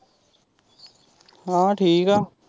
ਹਾਂ ਠੀਕ ਆ।